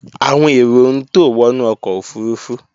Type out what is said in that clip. Àwọn èrò ń tò wọnú ọkọ̀ òfurufú